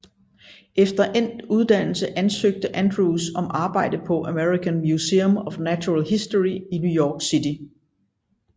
Efter endt uddannelse ansøgte Andrews om arbejde på American Museum of Natural History i New York City